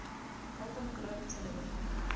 golden globe television